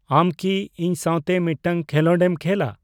ᱟᱢ ᱠᱤ ᱤᱧ ᱥᱟᱣᱛᱮ ᱢᱤᱫᱴᱟᱝ ᱠᱷᱮᱞᱚᱸᱰᱮᱢ ᱠᱷᱮᱞᱟ